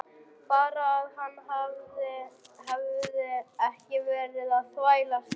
Bara að hann hefði ekki verið að þvælast þetta.